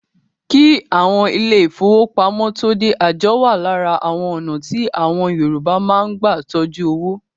Kí àwọn ilé ìfọwọ́pamo tóo dé, àjọ wa lára àwọn ọ̀nà tí àwọn Yorùbá máa ń gbà tọjú owó.